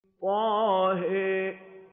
طه